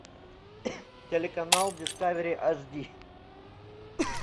телеканал дискавери аш ди